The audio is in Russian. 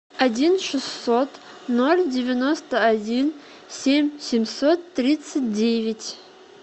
один шестьсот ноль девяносто один семь семьсот тридцать девять